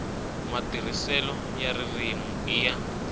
matirhiselo ya ririmi i ya